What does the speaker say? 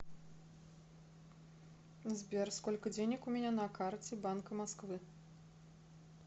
сбер сколько денег у меня на карте банка москвы